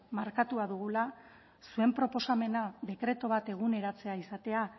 markatuta dugula zuen proposamena dekretu bat eguneratzea izatea